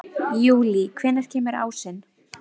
Júlí, hvenær kemur ásinn?